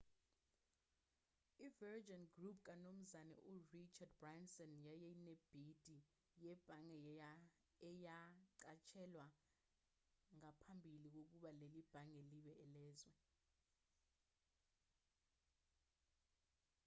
i-virgin group kamnumzane richard branson yayinebhidi yebhange eyanqatshelwa ngaphambili kokuba leli bhange libe elezwe